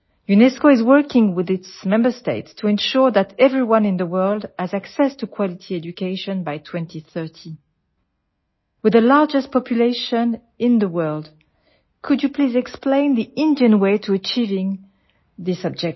UNESCO is working with its member states to ensure that everyone in the world has access to quality education by 2030 with the largest population in the world could you please explain Indian way to achieving this objective